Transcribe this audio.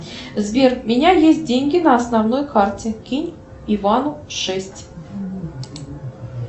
сбер у меня есть деньги на основной карте кинь ивану шесть